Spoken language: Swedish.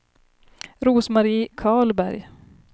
Rose-Marie Karlberg